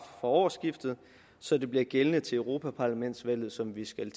årsskiftet så det bliver gældende til europaparlamentsvalget som vi skal